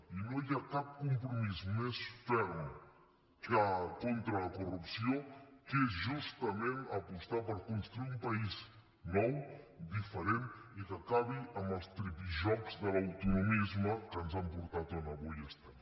i no hi ha cap compromís més ferm contra la corrupció que és justament apostar per construir un país nou diferent i que acabi amb els tripijocs de l’autonomisme que ens han portat on avui estem